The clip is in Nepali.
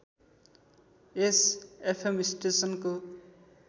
यस एफएम स्टेसनको